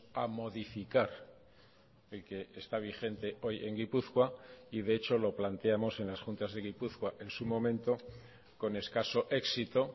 a modificar el que está vigente hoy en gipuzkoa y de hecho lo planteamos en las juntas de gipuzkoa en su momento con escaso éxito